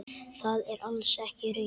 Það er alls ekki raunin.